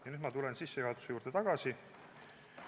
Nüüd ma tulen korraks sissejuhatuse juurde tagasi.